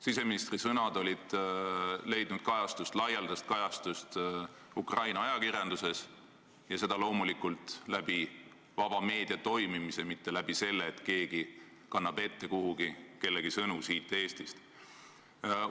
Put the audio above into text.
Siseministri sõnad olid leidnud laialdast kajastust Ukraina ajakirjanduses ja seda loomulikult tänu vaba meedia toimimisele, mitte tänu sellele, et keegi kannab kellegi sõnu siit Eestist kellelegi ette.